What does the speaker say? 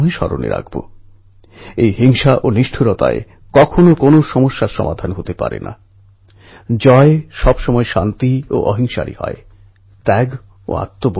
মাননীয় প্রধানমন্ত্রী মহাশয় নমস্কার আমি সন্তোষ কাকড়ে কোলাপুর মহারাষ্ট্র থেকে বলছি